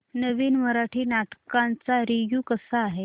नवीन मराठी नाटक चा रिव्यू कसा आहे